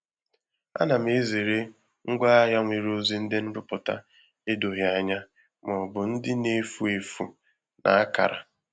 A na m ezere ngwaahịa nwere ozi ndị nrụpụta edoghị anya ma ọ bụ na-efu efu na akara.